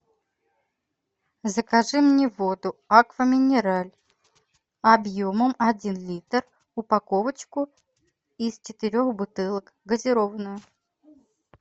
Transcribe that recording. закажи мне воду аква минерале объемом один литр упаковочку из четырех бутылок газированную